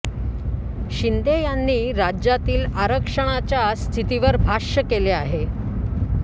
शिंदे यांनी राज्यातील आरक्षणाच्या स्थितीवर भाष्य केले आहे